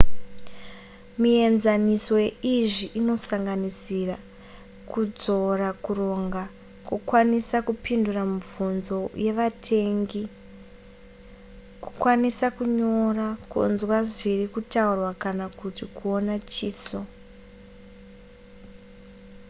mienzaniso yeizvi inosanganisira kudzora kuronga kukwanisa kupindura mibvunzo yevatengai kukwanisa kunyora kunzwa zviri kutaurwa kana kuti kuona chiso